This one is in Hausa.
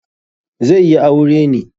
Zai yi aure ne.